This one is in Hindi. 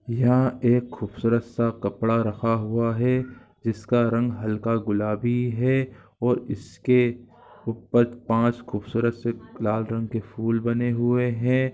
यहां एक ख़ूबसूरत सा कपड़ा रखा हुआ है। जिसका रंग हल्का गुलाबी है। और इसके ऊपर पांच खूबसूरत से लाल रंग के फूल बने हुए हैं।